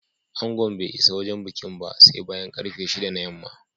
Angon bai isa wajen bikin ba sai bayan ƙarfe shida na yamma